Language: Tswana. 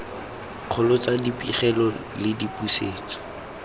kgolo tsa dipegelo le dipusetso